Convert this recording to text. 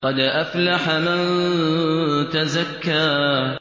قَدْ أَفْلَحَ مَن تَزَكَّىٰ